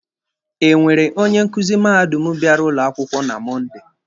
Enwere onye nkuzi mahadum bịara ụlọ akwụkwọ na Mọnde?